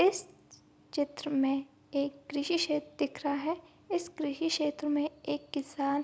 इस चित्र में एक कृषि क्षेत्र दिख रहा है इस कृषि क्षेत्र में एक किसान --